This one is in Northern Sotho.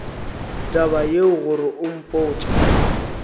taba yeo gore o mpotše